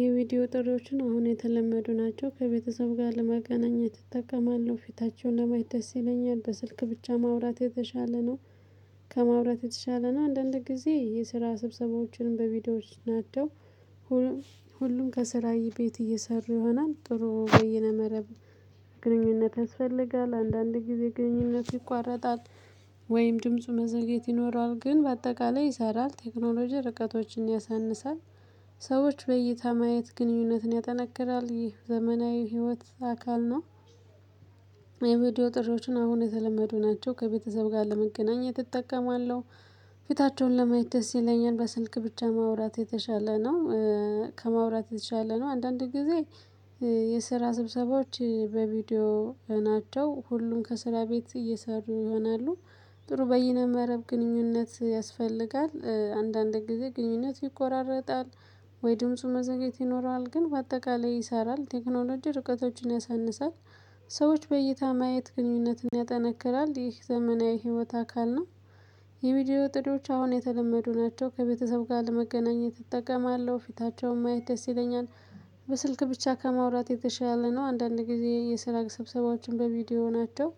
የቪዲዮ ጥሪዎችን አሁን የተለመዱ ናቸው ከቤተሰብ ጋር ለመገናኘት እጠቀማለሁ ፊታቸውን ለማየት ደስ ይለኛል በስልክ ብቻ ማውራት የተሻለ ነው። ከማውራት የተሻለ ነው አንዳንድ ጊዜ የስራ ስብሰባዎችንም በቪዲዮዎች ናቸው። ሁል ሁሉም ከሥራዬ ቤት እየሰሩ ይሆናል ጥሩ በይነ መረብ ግንኙነት ያስፈልጋል አንዳንድ ጊዜ ግንኙነት ይቋረጣል። ወይም ድምፁ መዘግየት ይኖረዋል ግን በአጠቃላይ ይሰራል ቴክኖሎጂ ርቀቶችን ያሳንሳል። ሰዎች በእይተህ ማየት ግንኙነትን ያጠነክራል ይህ ዘመናዊ ህይወት አካል ነው። የቪዲዮ ጥሪዎችን አሁን የተለመዱ ናቸው ከቤተሰብ ጋር ለመገናኘት እጠቀማለሁ። ፊታቸውን ለማየት ደስ ይለኛል በስልክ ብቻ ማውራት የተሻለ ነው። ከማውራት የተሻለ ነው አንዳንድ ጊዜ። የስራ ስብሰባዎች በቪዲዮ ናቸው ሁሉም ከስራ ቤት እየሰሩ ይሆናሉ። ጥሩ በይነ መረብ ግንኙነት ያስፈልጋል አንዳንድ ጊዜ ግንኙነት ይቆራረጣል። ወይ ድምፁ መዘግየት ይኖረዋል ግን በአጠቃላይ ይሰራል ቴክኖሎጂ ርቀቶችን ያሳንሳል። ሰዎች በእይታ ማየት ግንኙነትን ያጠነክራል ይህ ዘመናዊ ህይወት አካል ነው። የቪዲዮ ጥሪዎች አሁን የተለመዱ ናቸው ከቤተሰብ ጋር ለመገናኘት እጠቀማለሁ ፊታቸውን ማየት ደስ ይለኛል። በስልክ ብቻ ከማውራት የተሻለ ነው አንዳንድ ጊዜ የስራ ስብሰባዎችን በቪዲዮ ናቸው።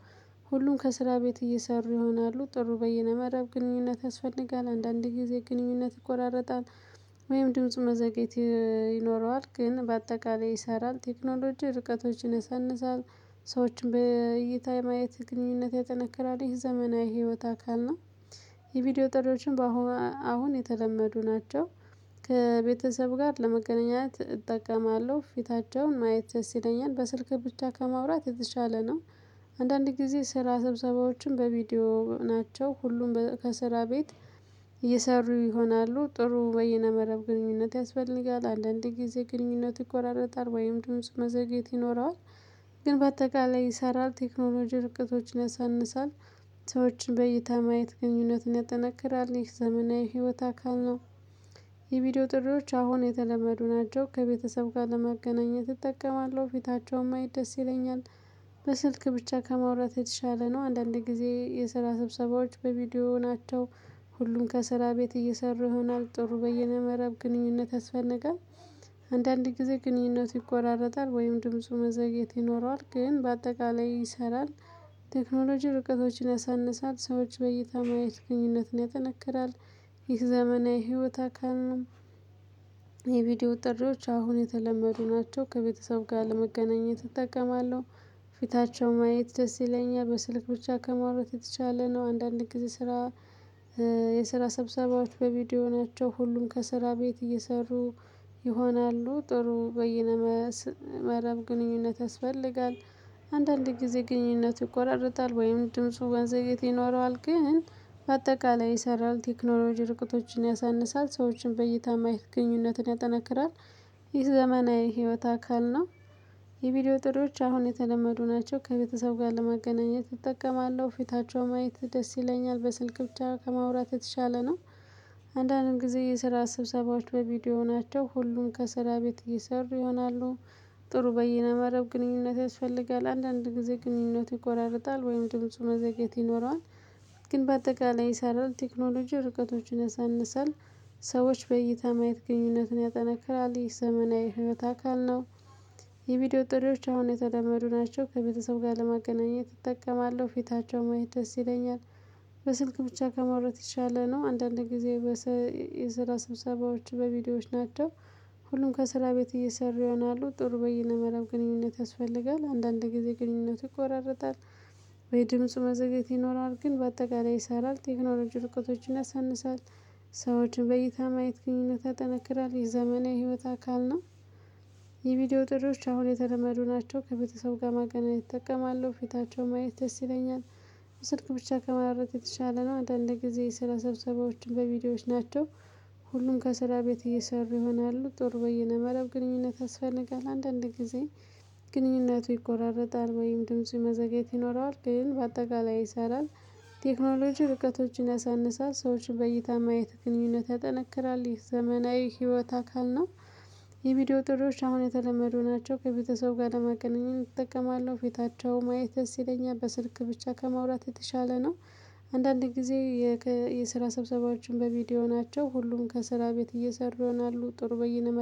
ሁሉም ከስራ ቤት እየሰሩ ይሆናሉ ጥሩ በይነመረብ ግንኙነት ያስፈልጋል አንዳንድ ጊዜ ግንኙነት ይቆራረጣል። ወይም ድምጽ መዘግየት ይ ይኖረዋል ግን በአጠቃላይ ይሰራል ቴክኖሎጂ ርቀቶችን ያሳንሳል። ሰዎችን በእይታ የማየት ግንኙነት ያጠነክራል ይህ ዘመናዊ ህይወት አካል ነው። የቪዲዮ ጥሪዎችን በአሁ አሁን የተለመዱ ናቸው። ከቤተሰብ ጋር ለመገናኘት እጠቀማለሁ ፊታቸውን ማየት ደስለኛል በስልክ ብቻ ከማውራት የተሻለ ነው። አንዳንድ ጊዜ ስራ ስብሰባዎችም በቪዲዮ ናቸው ሁሉም ከስራ ቤት። እየሰሩ ይሆናሉ ጥሩ በይነ መረብ ግንኙነት ያስፈልጋል እንዳንድ ጊዜ ግንኙነቱ ይቆራረጣል ወይም ድምጽ መዘግየት ይኖረዋል። ግን በአጠቃላይ ይሰራል ቴክኖሎጂ ርቅቶችን ያሳንሳል። ሰዎችን በእይታ ማየት ግንኙነቱን ያጠናክራል ይህ ዘመናዊ ህይወት አካል ነው። የቪዲዮ ጥሪዎች አሁን የተለመዱ ናቸው ከቤተሰብ ጋር ለመገናኘት እጠቀማለሁ ፊታቸውም ማየት ደስ ይለኛል። በስልክ ብቻ ከማውራት የተሻለ ነው አንዳንድ ጊዜ የስራ ስብሰባዎች በቪዲዮ ናቸው። ሁሉም ከስራ ቤት እየሰሩ ይሆናል ጥሩ በይነ መረብ ግንኙነት ያስፈልጋል። አንዳንድ ጊዜ ግንኙነቱ ይቆራረጣል ወይም ድምፁ መዘግየት ይኖረዋል ግን በአጠቃላይ ይሰራል። ቴክኖሎጂ ርቀቶችን ያሳንሳል ሰዎች በእይታ ማየት ግንኙነትን ያጠነክራል። ይህ ዘመናዊ ህይወት አካል ነው። የቪዲዮ ጥሪዎች አሁን የተለመዱ ናቸው ከቤተሰብ ጋር ለመገናኘት እጠቀማለሁ። ፊታቸው ማየት ደስ ይለኛል በስልክ ብቻ ከማውራት የተሻለ ነው አንዳንድ ጊዜ ስራ። የስራ ሰብሰባዎች በቪዲዮ ናቸው ሁሉም ከስራ ቤት እየሰሩ። ይሆናሉ ጥሩ በይነ መስ መረብ ግንኙነት ያስፈልጋል። አንዳንድ ጊዜ ግንኙነቱ ይቆራርጣል ወይም ድምፁ መዘግየት ይኖረዋል ግን በአጠቃላይ ይሰራል ቴክኖሎጂ ርቀቶችን ያሳንሳል ሰዎችን በእይታ ማየት ግንኙነትን ያጠነክራል። ይህ ዘመናዊ ህይወት አካል ነው። የቪዲዮ ጥሪዎች አሁን የተለመዱ ናቸው ከቤተሰብ ጋር ለማገናኘት እጠቀማለሁ ፊታቸው ማየት ደስ ይለኛል በስልክ ብቻ ከማውራት የተሻለ ነው። አንዳንድ ጊዜ የስራ ስብሰባዎች በቪዲዮ ናቸው ሁሉም ከስራ ቤት እየሰሩ ይሆናሉ። ጥሩ በይነመረብ ግንኙነት ያስፈልጋል አንዳንድ ጊዜ ግንኙነቱ ይቆራረጣል ወይም ድምፁ መዘግየት ይኖረዋል። ግን በአጠቃላይ ይሰራል ቴክኖሎጂ ርቀቶችን ያሳንሳል። ሰዎች በእይታ ማየት ግንኙነቱን ያጠናክራል ይህ ዘመናዊ ህይወት አካል ነው። የቪዲዮ ጥሪዎች አሁን የተለመዱ ናቸው ከቤተሰብ ጋር ለማገናኘት እጠቀማለሁ ፊታቸው ማየት ደስ ይለኛል። በስልክ ብቻ ከማውራት የተሻለ ነው አንዳንድ ጊዜ በሰይ የስራ ሰብሰባዎች በቪዲዮዎች ናቸው። ሁሉም ከስራ ቤት እየሰሩ ይሆናሉ ጥሩ በይነ መረብ ግንኙነት ያስፈልጋል አንዳንድ ጊዜ ግንኙነቱ ይቆራረጣል። ወይ ድምጽ መዘግየት ይኖረዋል ግን በአጠቃላይ ይሰራል ቴክኖሎጂ ርቀቶችን ያሳንሳል። ሰዎችን በእይታ ማየት ግንኙነት ያጠነክራል የዘመናዊ ህይወት አካል ነው። የቪዲዮ ጥሪዎች አሁን የተለመዱ ናቸው ከቤተሰብ ጋር ማገናኘት እጠቀማለሁ ፊታቸው ማየት ደስ ይለኛል። ስልክ ብቻ ከማውራት የተሻለ ነው አንዳንድ ጊዜ የስራ ሰብሰባዎችም በቪዲዮዎች ናቸው። ሁሉም ከስራ ቤት እየሰሩ ይሆናሉ ጥሩ በይነ መረብ ግንኙነት ያስፈልጋል አንዳንድ ጊዜ። ግንኙነቱ ይቆራረጣል ወይም ድምፁ መዘግየት ይኖረዋል ግን በአጠቃላይ ይሰራል። ቴክኖሎጂ ርቀቶችን ያሳንሳል ሰዎች በእይታ ማየት ግንኙነት ያጠነክራል ይህ ዘመናዊ ህይወት አካል ነው። የቪዲዮ ጥሪዎች አሁን የተለመዱ ናቸው ከቤተሰብ ጋር ለመገናኘት እጠቀማለሁ ፊታቸው ማየት ደስ ይለኛል በስልክ ብቻ ከማውራት የተሻለ ነው። አንዳንዴ ጊዜ። የክ የስራ ሰብሰባዎችም በቪዲዮ ናቸው ሁሉም ከስራ ቤት እየሰሩ ይሆናሉ ጥሩ በይነመረብ